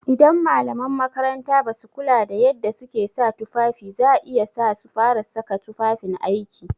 Idan malaman makaranta basu kula da yadda suke sa tufafi za iya sa su fara saka tufafin aiki.